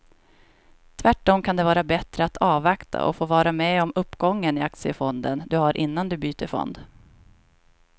Tvärtom kan det vara bättre att avvakta och få vara med om uppgången i aktiefonden du har innan du byter fond.